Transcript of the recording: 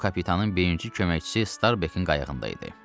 O, kapitanın birinci köməkçisi Starbekin qayığında idi.